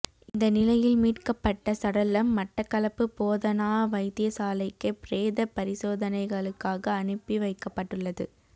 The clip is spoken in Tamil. இந்த நிலையில் மீட்கப்பட்ட சடலம் மட்டக்களப்பு போதனா வைத்தியசாலைக்கு பிரேத பரிசோதனைகளுக்காகஅனுப்பிவைக்கப்பட்டுள்ளது